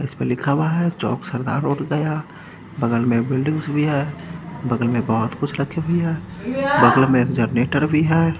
इसपे लिखा हुआ है चौक सरदार रोड गया बगल में बिल्डिंग्स भी है बगल में बहुत कुछ रखे भी है बगल में एक जनरेटर भी है।